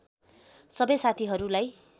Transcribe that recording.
सबै साथीहरूलाई